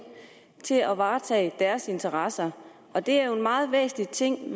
til at varetage deres interesser og det er en meget væsentlig ting